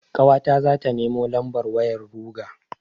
Ƙawata zata nemo lambar wayar ruger.